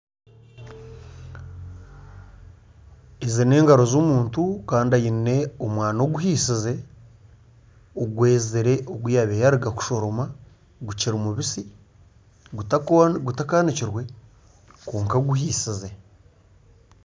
Ezi n'engaro z'omuntu kandi aine omwani oguhiisize. Ogwezire ogu yabaire yaaruga kushoroma gukiri mubisi gutakaanikirwe kwonka guhiisize.